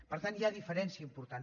per tant hi ha diferència important